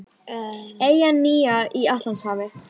Eyjan nýja í Atlantshafi.